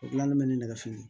O gilanli bɛ ne nɛgɛso